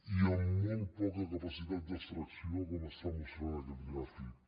i amb molt poca capacitat d’extracció com mostra aquest gràfic